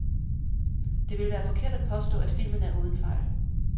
Det ville være forkert at påstå, at filmen er uden fejl.